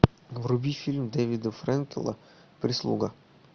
вруби фильм дэвида фрэнкела прислуга